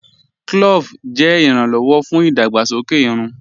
Clóòvù jẹ iràn-lọ́wọ̀ fún idàgbàsọkè ìrùn.